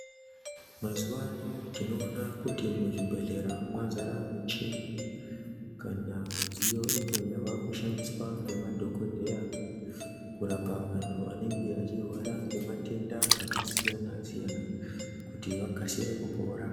Mazuwa ano tinoona kuti muzvibhehlera mwazare michini kana midziyo imwe yavakushandiswa ngemadhokodheya kurapa anhu anenge achirwara ngematenda akasiyanasiyana kuti vakasire kupora.